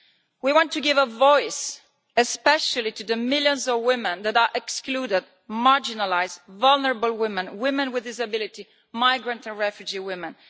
We want to give a voice, especially to the millions of women that are excluded, marginalised, vulnerable women, women with disabilities, migrant and refugee women.